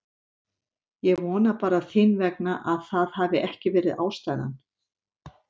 Ég vona bara þín vegna að það hafi ekki verið ástæðan.